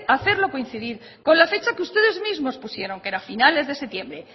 hacerlo coincidir con la fecha que ustedes mismos pusieron que era finales de septiembre